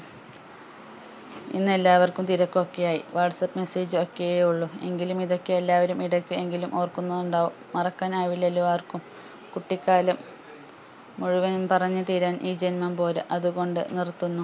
ഇന്ന് എല്ലാവർക്കും തിരക്കൊക്കെയായി whatsapp message ഒക്കെ ഉള്ളു എങ്കിലും ഇതൊക്കെ എല്ലാവരും ഇടക്ക് എങ്കിലും ഓർക്കുന്നുണ്ടാകും മറക്കാൻ ആവില്ലലോ ആർക്കും കുട്ടിക്കാലം മുഴുവനും പറഞ്ഞ് തീരാൻ ഈ ജന്മം പോര അതുകൊണ്ട് നിർത്തുന്നു